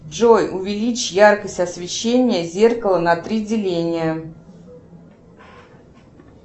джой увеличь яркость освещения зеркала на три деления